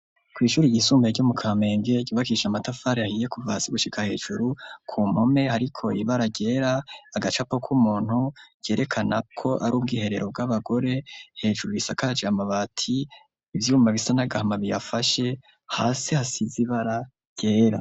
Kw'ishuri ryisumbuye ryo mu Kamenge ryubakishije amatafari ahiye kuva hasi gushika hejuru, ku mpome hariko ibara ryera agacapo k'umuntu yerekana ko ari ubwiherero bw'abagore, hejuru isakaje amabati ivyuma bisa n'agahamabiyafashe hasi hasize ibara ryera.